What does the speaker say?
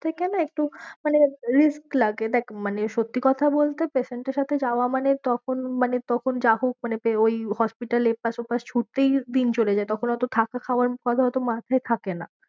সেখানে একটু মানে risk লাগে দেখ মানে সত্যি কথা বলতে patient এর সাথে যাওয়া মানে তখন মানে তখন যা হোক মানে ওই hospital এ এপাশ ওপাশ ছুটতেই দিন চলে যায়। তখন অত থাকা খাওয়ার কথা অত মাথায় থাকে না।